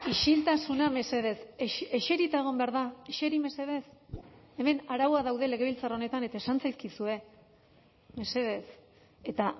isiltasuna mesedez eserita egon behar da eseri mesedez hemen arauak daude legebiltzar honetan eta esan zaizkizue mesedez eta